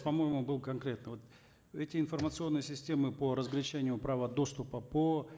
по моему был конкретно вот эти информационные системы по разграничению права доступа по